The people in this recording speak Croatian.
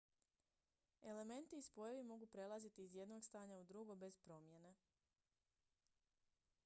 elementi i spojevi mogu prelaziti iz jednog stanja u drugo bez promjene